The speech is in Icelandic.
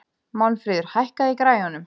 Málmfríður, hækkaðu í græjunum.